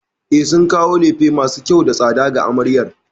E, sun kawo lefe masu kyau da tsada ga amaryar.